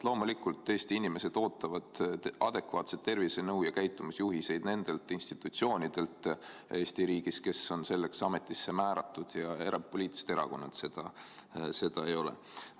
Loomulikult ootavad Eesti inimesed adekvaatset tervisenõu ja käitumisjuhiseid nendelt institutsioonidelt Eesti riigis, kes on selleks ametisse määratud, ja poliitilised erakonnad seda ei ole.